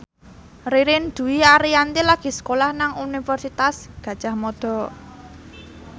Ririn Dwi Ariyanti lagi sekolah nang Universitas Gadjah Mada